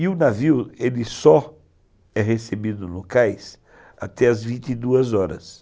E o navio só é recebido no cais até às vinte e duas horas.